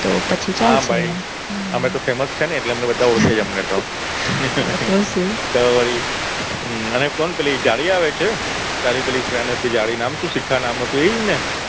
તો પછી. હા ભઈ. અમે તો famous છીએ ને એટલે અમને તો બધા ઓરખે જ અમને તો. તો શું વળી હમ પેલી જાડી આવે છે. તારી પેલી friend હતી નામ શું હતું શિખા નામ હતું એજ ને